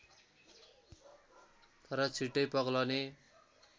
तर छिटै पग्लने